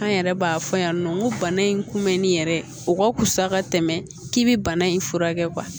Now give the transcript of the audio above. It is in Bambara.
An yɛrɛ b'a fɔ yan nɔ ko bana in kun bɛnnen yɛrɛ o ka fusa ka tɛmɛ k'i bi bana in furakɛ